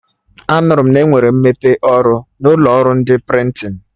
Anụrụ m na-enwere mmepe ọrụ n'ụlọ ọrụ ndị prịntịn